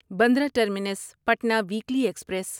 Bandra terminus Patna weekly express